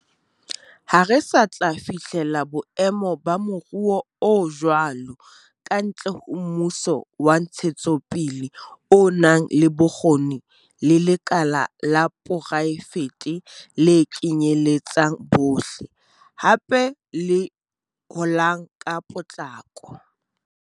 Ha re sa tla fihlela boemo ba moruo o jwalo kantle ho mmuso wa ntshetsopele o nang le bokgoni le lekala la poraefete le kenyeletsang bohle, hape le holang ka potlako.